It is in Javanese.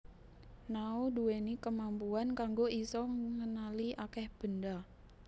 Nao ndhuwèni kemampuan kanggo isa ngenali akèh benda